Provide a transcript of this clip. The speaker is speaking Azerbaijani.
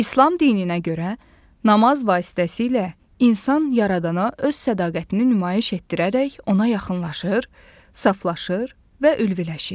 İslam dininə görə namaz vasitəsilə insan yaradana öz sədaqətini nümayiş etdirərək ona yaxınlaşır, saflaşır və ülviləşir.